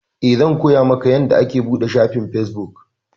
Eh, zan koya maka yanda ake buɗe shafin feabuk